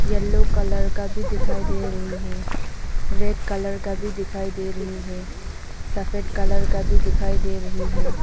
Yellow colour का भी दिखाई दे रही है रेड कलर का भी दिखाई दे रही है सफेद कलर का भी दिखाई दे रही है।